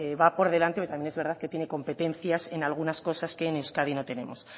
va por delante pero también es verdad que tiene competencias en algunas cosas que en euskadi no tenemos